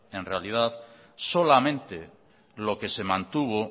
en realidad solamente lo que se mantuvo